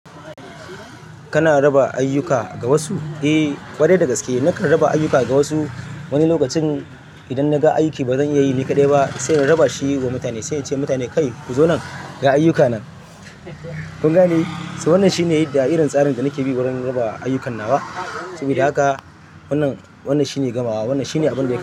Kana raba ayyuka ga wasu? Eh, ƙwarai dagaske nakan raba ayyuka ga wasu wani lokacin idan naga aiki bazan iya yi ni kaɗai ba sai in raba shi ga mutane, sai in ce mutane "Kai ku zo nan ga ayyukan nan", kun gane? Wannan shine da irin tsarin da nake bi wurin raba ayyukan nawa. Sabida haka wannan, wannan shine gamawa. Wannan shine abin da yake.